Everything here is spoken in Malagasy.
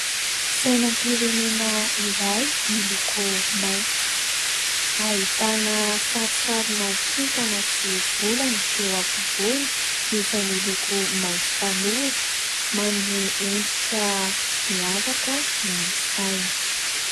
Sainam-pirenena iray miloko maitso. Ahitana sarisarina kintana sy volana eo afovoany izay miloko maitso tanora, manome endrika miavaka ny saina.